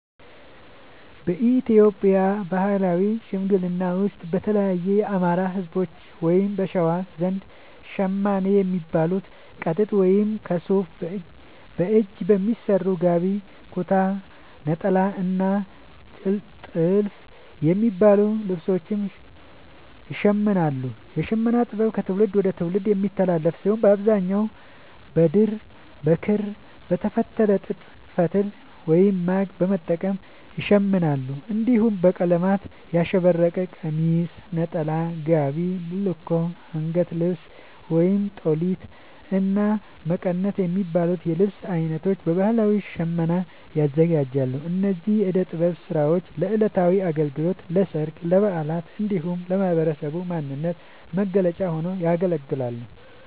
በኢትዮጵያ ባህላዊ ሽመና ውስጥ፣ በተለይም የአማራ፣ ህዝቦች(በሸዋ) ዘንድ ‘ሸማኔ’ የሚባሉት ከጥጥ ወይም ከሱፍ በእጅ በሚሰሩ ‘ጋቢ’፣ ‘ኩታ’፣ ‘ኔጣላ’ እና ‘ቲልፍ’ የሚባሉ ልብሶችን ይሽምናሉ። የሽመና ጥበቡ ከትውልድ ወደ ትውልድ የሚተላለፍ ሲሆን፣ በአብዛኛው በድር፣ በክር፣ በተፈተለ ጥጥ ፈትል(ማግ) በመጠቀም ይሸምናሉ። እንዲሁም በቀለማት ያሸበረቀ ቀሚስ፣ ነጠላ፣ ጋቢ፣ ቡልኮ፣ አንገት ልብስ(ጦሊት)፣እና መቀነት የሚባሉ የልብስ አይነቶችን በባህላዊ ሽመና ያዘጋጃሉ። እነዚህ የእደ ጥበብ ስራዎች ለዕለታዊ አገልግሎት፣ ለሠርግ፣ ለበዓላት እንዲሁም ለህብረተሰቡ ማንነት መገለጫ ሆነው ያገለግላሉ።